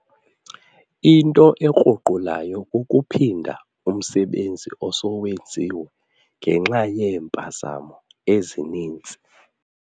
Into ekruqulayo kukuphinda umsebenzi osowenziwe ngenxa yeempazamo ezininzi.